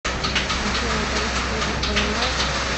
афина ты русский язык понимаешь